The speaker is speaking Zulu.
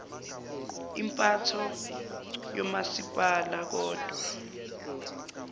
impatho yomasipala kodwa